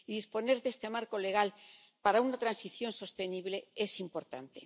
Y disponer de este marco legal para una transición sostenible es importante.